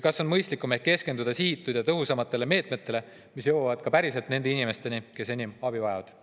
Ehk on mõistlikum keskenduda sihitatud ja tõhusamatele meetmetele, mille mõju jõuab päriselt nende inimesteni, kes enim abi vajavad.